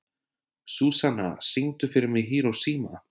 Súsanna, syngdu fyrir mig „Hiroshima“.